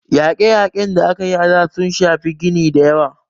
Yaƙe - yaƙen da aka yi a da, sun shafi gini dayawa